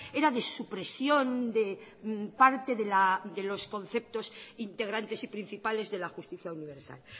era de supresión de parte de los conceptos integrantes y principales de la justicia universal